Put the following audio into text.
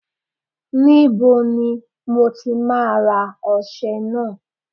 Níbo ni mo ti máa ra ọṣẹ náà?